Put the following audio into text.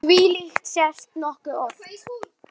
Þvílíkt sést nokkuð oft.